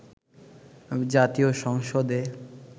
জাতীয় সংসদে